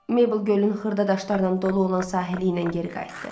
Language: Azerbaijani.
Mable gölün xırda daşlarla dolu olan sahili ilə geri qayıtdı.